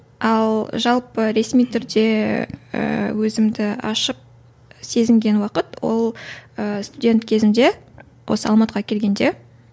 ал жалпы ресми түрде ііі өзімді ашық сезінген уақыт ол ы студент кезімде осы алматыға келгенде